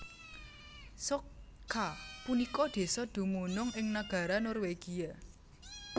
Stokka punika désa dumunung ing nagara Norwegia